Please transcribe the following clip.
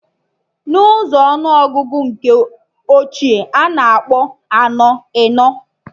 Na ụzọ ọnụ ọgụgụ nke ochie, a na-akpọ anọ, enọ